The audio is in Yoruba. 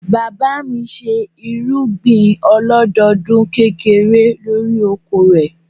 Bàbá mi ṣe irúgbìn ọlọ́dọdún kékeré lórí oko rẹ̀.